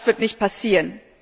Aber das wird nicht passieren.